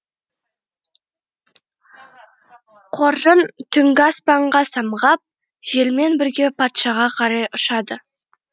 қоржын түнгі аспанға самғап желмен бірге патшаға қарай ұшады